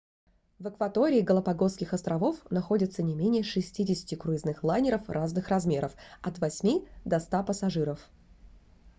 в акватории галапагосских островов находится не менее 60 круизных лайнеров разных размеров от 8 до 100 пассажиров